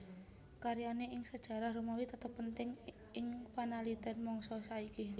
Karyane ing sejarah Romawi tetep penting ing panaliten mangsa saiki